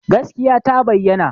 Gaskiya ta bayyana